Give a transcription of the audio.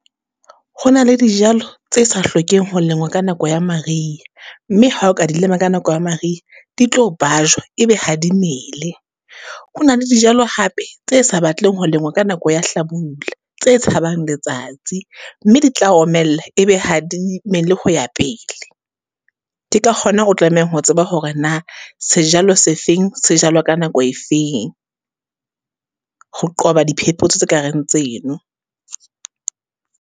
Ho na le dijalo tse sa hlokeng ho lengwa ka nako ya mariha, mme ha o ka di lema ka nako ya mariha, di tlo bajwa, e be ha di mele. Ho na le dijalo hape, tse sa batleng ho lengwa ka nako ya hlabula, tse tshabang letsatsi, mme di tla omella e be ha di mele ho ya pele. Ke ka kgona o tlamehang ho tseba hore na, sejalo se feng se jalwa ka nako e feng? Ho qoba diphepotso tse ka reng tseno.